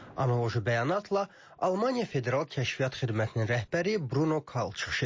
Analoji bəyanatla Almaniya Federal Kəşfiyyat Xidmətinin rəhbəri Bruno Kalx çıxış edib.